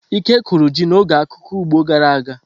Ike kụrụ ji n'oge akuku ugbo gara aga.